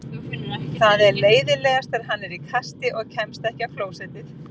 Það er leiðinlegast þegar hann er í kasti og kemst ekki á klósettið.